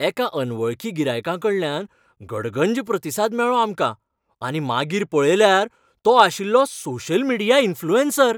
एका अनवळखी गिरायकाकडल्यान गडगंज प्रतिसाद मेळ्ळो आमकां आनी मागीर पळयल्यार तो आशिल्लो सोशल मिडिया इन्फ्लुऍन्सर!